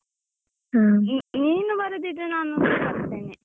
ಹಾ, ನೀನು ಬರುದಿದ್ರೆ ನಾನುಸ ಬರ್ತೇನೆ.